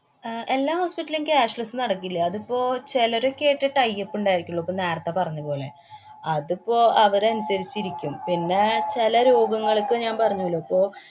അഹ് എല്ലാ hospital ലും cashless നടക്കില്ല. അതിപ്പോ ചെലരൊക്കെയായിട്ടെ tie up ഇണ്ടായിരിക്കുള്ളൂ. അപ്പോ നേരത്തെ പറഞ്ഞപോലെ അതിപ്പോ അവരനുസരിച്ചിരിക്കും. പിന്നെ ചെല രോഗങ്ങള്‍ക്ക് ഞാന്‍ പറഞ്ഞൂലോ. ഇപ്പൊ